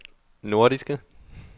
nordiske